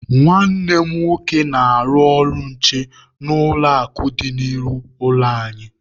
Nwanne m nwoke na-arụ ọrụ nche n'ụlọ akụ dị n'ihu ụlọ anyị.